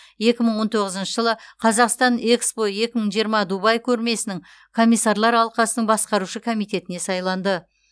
екі мың он тоғызыншы жылы қазақстан экспо екі мың жиырма дубай көрмесінің комиссарлар алқасының басқарушы комитетіне сайланды